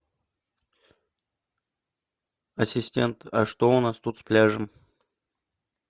ассистент а что у нас тут с пляжем